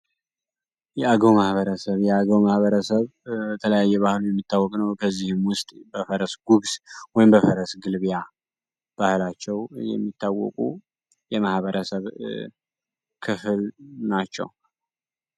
የአገው ማህበረሰብ የአገው ማህበረሰብ በተለያዩ የባህል የሚታወቅ ነው። ከዚህ ውስጥ በፈረስ ጉግስ ወይም በፈረስ ግልቢያ ባህላቸው የሚታወቁ የማህበረሰብ ክፍል ናቸው ።